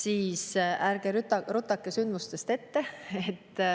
Aga ärge rutake sündmustest ette.